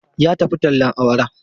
Ta tafi tallen awara.